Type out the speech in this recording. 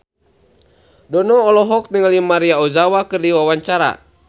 Dono olohok ningali Maria Ozawa keur diwawancara